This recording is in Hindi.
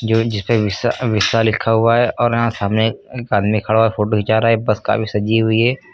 जो जिसपे बिस्सा वीशा लिखा हुआ है और यहां सामने ए एक आदमी खड़ा फोटो हुआ है हिचा रहा है बस काफी सजी हुई है।